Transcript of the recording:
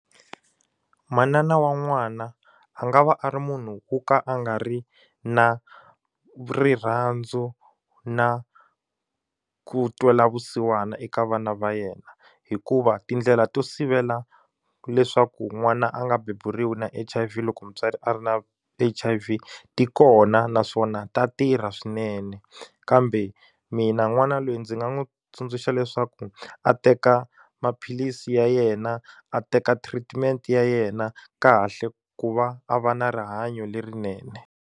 Manana wa n'wana a nga va a ri munhu wo ka a nga ri na rirhandzu na ku twela vusiwana eka vana va yena hikuva tindlela to sivela leswaku n'wana a nga beburiwa na H_I_V loko mutswari a ri na H_I_V ti kona naswona ta tirha swinene kambe mina n'wana loyi ndzi nga n'wi tsundzuxa leswaku a teka maphilisi ya yena a teka treatment ya yena kahle ku va a va na rihanyo lerinene.